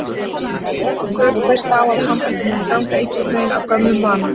Mörg pör treysta á að sambandið muni ganga einhvern veginn af gömlum vana.